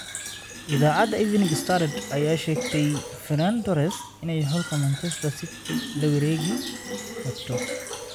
Iidacada Evening Standard, aya sheegtey Ferran Torres inay xulka Manchester City lasowarekirabto.